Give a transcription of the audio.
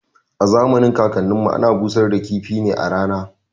A zamanin kakan nin mu ana busar da kifi ne a rana